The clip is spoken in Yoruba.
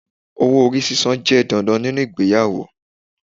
Owó-orí sísan jẹ́ dandan ninú ìgbéyàwó